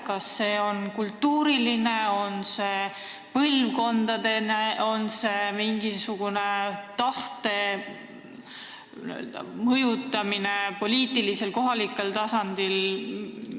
Kas sellel on kultuuriline või põlvkondlik põhjus või on siin tegu tahte mõjutamisega poliitilisel või kohalikul tasandil?